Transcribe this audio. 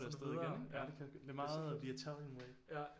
Så er du videre ja det kan jeg også godt lide det er meget the italian way